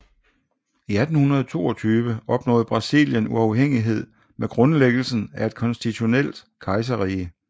I 1822 opnåede Brasilien uafhængighed med grundlæggelsen af et konstitutionelt kejserrige